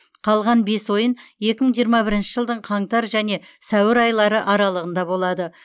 қалған бес ойын екі мың жиырма бірінші жылдың қаңтар және сәуір айлары аралығында болады